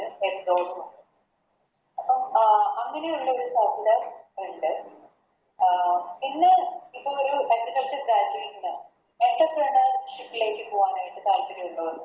അപ്പം അങ്ങനെയുള്ള അഹ് പിന്നെ ഇപ്പറഞ്ഞൊരു Agriculture graduate ന് Entrepreneurship ലേക്ക് പോകാനായിട്ട് താൽപ്പര്യമുള്ളവർക്ക്